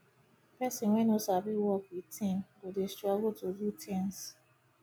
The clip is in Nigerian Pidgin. person wey no sabi work with team go dey struggle to do things